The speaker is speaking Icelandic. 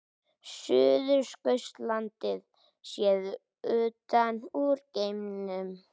Suðurskautslandið séð utan úr geimnum.